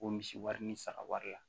O misi wari ni saga wari la